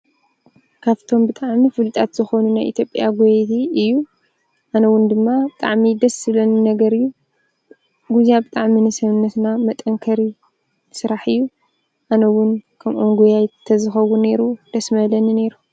ካብቶም ብጣዕሚ ፍሉጣት ዝኾኑ ናይ ኢትዮጵያ ጎየይቲ እዩ። ኣነ እዉን ድማ ብጣዕሚ ደስ ዝብለኒ ነገር እዩ። ጉያ ብጣዕሚ ንሰውነትና መጠንከሪ ስራሕ እዩ። ኣነ እዉን ከምኦም ጎያይት ተዝኸውን ኔሩ ደስ ምበለኒ ኔሩ።